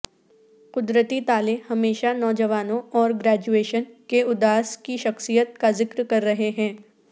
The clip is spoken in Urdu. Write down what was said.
قدرتی تالے ہمیشہ نوجوانوں اور گریجویشن کے اداس کی شخصیت کا ذکر کر رہے ہیں